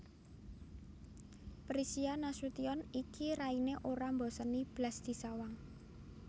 Prisia Nasution iki raine ora mboseni blas disawang